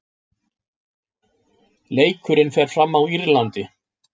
Leikurinn fer fram á Írlandi.